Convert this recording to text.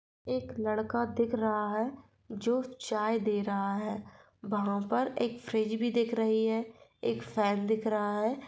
एक लड़का दिख रहा है जो चाय दे रहा है वहां पर एक फ्रिज भी दिख रही है एक फेन दिख रहा है।